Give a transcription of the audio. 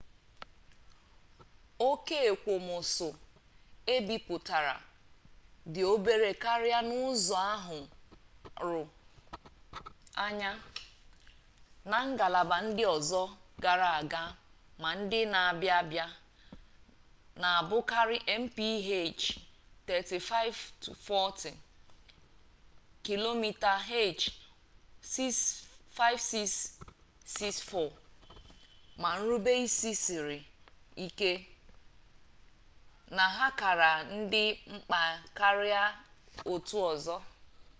ókè ekwomọsọ ebipụtara dị obere karịa n'ụzọ ahụrụ anya na ngalaba ndị ọzọ gara aga ma ndị na-abịa abịa - na-abụkarị mph 35-40 km/h 56-64 - ma nrubeisi siri ike na ha kara dị mkpa karịa otu ọzọ